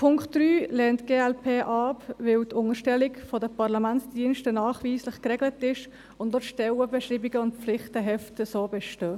Punkt 3 lehnt die glp ab, weil die Unterstellung der Parlamentsdienste nachweislich geregelt ist und auch die Stellenbeschreibungen und Pflichtenhefte bestehen.